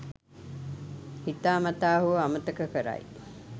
හිතා මතා හෝ අමතක කරයි.